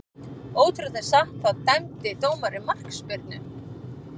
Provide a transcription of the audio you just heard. Ótrúlegt en satt, þá dæmdi dómarinn markspyrnu.